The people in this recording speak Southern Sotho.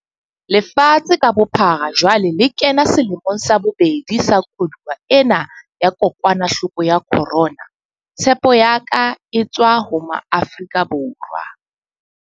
Lefatshe ka bophara jwale le kena selemong sa bobedi sa koduwa ena ya kokwanahloko ya corona. Tshepo ya ka e tswa ho Maafrika Borwa.